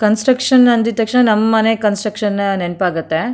Construction ಅಂದ ತಕ್ಷಣ ನಮ್ಮ ಮನೆ ಕನ್ಸ್ಟ್ರಕ್ಷನ್ ನೆನಪಾಗುತ್ತೆ.